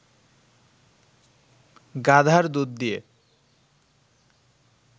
গাধার দুধ দিয়ে